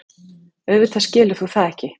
Auðvitað skilur þú það ekki.